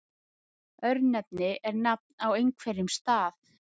Örnefni er nafn á einhverjum stað.